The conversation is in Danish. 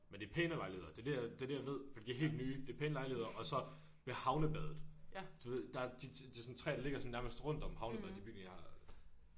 Men det er pænere lejligheder det er det det er det jeg ved fordi de er helt nye det er pæne lejligheder og så ved havnebadet du ved der er de der tre de ligger sådan nærmest rundt om havnebadet de bygninger jeg har